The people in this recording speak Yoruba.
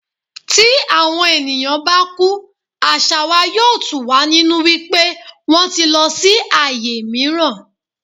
Tí àwọn ènìyàn bá kú, àṣà wa yóò tù wá nínú wípé wón ti lọ sí ayé mìíràn.